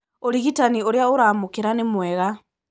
ũrigitani ũrĩa ũramũkĩra nĩmwega.